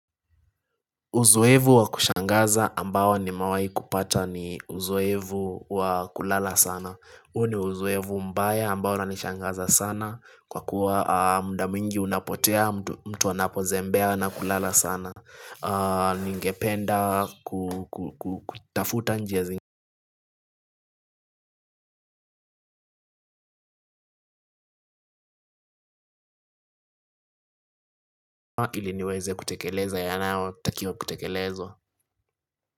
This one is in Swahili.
Uzoevu wa kushangaza ambao nimewai kupata ni uzoevu wa kulala sana. Uo ni uzoevu mbaya ambao unanishangaza sana. Kwa kuwa mda mwingi unapotea mtu anapozembea na kulala sana. Ningependa kutafuta njia zingama ili niweze kutekeleza yanayo takio kutekelezo.